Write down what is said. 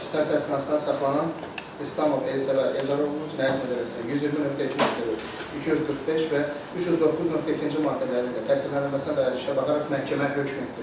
Həbsdə saxlanılan İslamov Elsəvər Eldaroğlu Cinayət Məcəlləsinin 120.2.4, 245 və 309.2-ci maddələri ilə təqsirlənməsinə dair işə baxaraq məhkəmə hökm etdi.